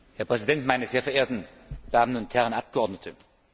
Herr Präsident, meine sehr verehrten Damen und Herren Abgeordnete!